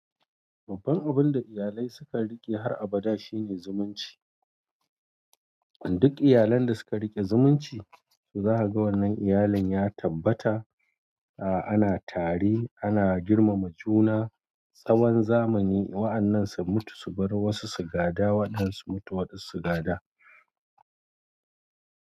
Babban abunda iyalai suka rike har abada shine zumunci. Duk iyalan da suka riƙe zumunci, su za a ga wannan iyalin ya tabbata, a ana tari, ana girmama juna, tsawon zamani. Wa'annan su mutu su bar wasu su gada waɗansu mutu waɗansu su gada.